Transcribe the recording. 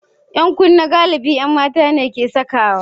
Yankunne galibi mata ne ke sawa.